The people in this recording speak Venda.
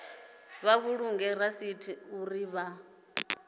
vha vhulunge rasithi uri vha